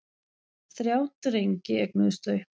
Þrjá drengi eignuðust þau.